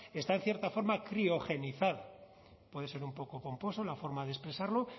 está en cierta forma criogenizada puede ser un poco pomposo la forma de expresarlo